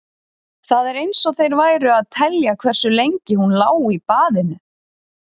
Það var eins og þeir væru að telja hversu lengi hún lá í baðinu.